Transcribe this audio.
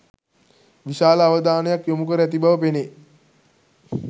විශාල අවධානයක් යොමුකර ඇති බව පෙනේ.